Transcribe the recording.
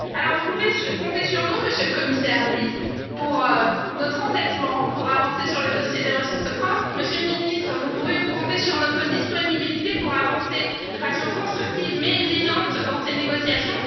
Vous pouvez compter sur nous, Monsieur le Commissaire, sur notre entêtement pour avancer sur le dossier des ressources propres. Monsieur le Ministre, vous pouvez compter sur notre disponibilité pour avancer de façon constructive mais exigeante dans ces négociations.